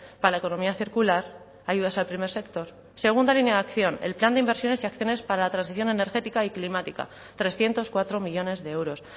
para la economía circular ayudas al primer sector segunda línea de acción el plan de inversiones y acciones para la transición energética y climática trescientos cuatro millónes de euros